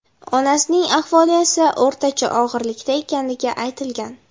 Onasining ahvoli esa o‘rtacha og‘irlikda ekanligi aytilgan.